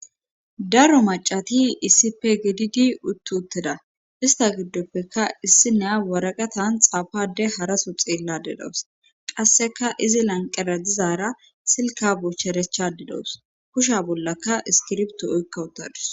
Daro macati issipe gididi uttutteda ista giddoppeka issi neya waraqatan xaafade haraso xeelladedawus qasseka izi lanqera dizaara silka boocharechadidos kusha bollaka iskirbto oykka utadus.